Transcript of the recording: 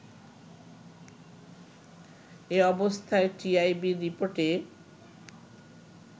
এ অবস্থায় টিআইবির রিপোর্টে